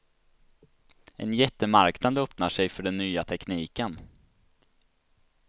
En jättemarknad öppnar sig för den nya tekniken.